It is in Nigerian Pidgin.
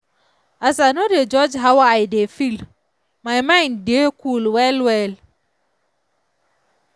as i no dey judge how i dey feel my mind dey cool well well.